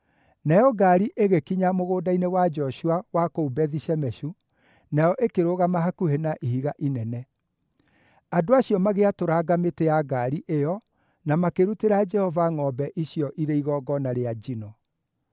Nayo ngaari ĩgĩkinya mũgũnda-inĩ wa Joshua wa kũu Bethi-Shemeshu, nayo ĩkĩrũgama hakuhĩ na ihiga inene. Andũ acio magĩatũranga mĩtĩ ya ngaari ĩyo, na makĩrutĩra Jehova ngʼombe icio igongona rĩa njino.